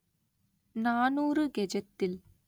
நாநூறு கெஜத்தில்